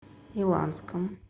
иланском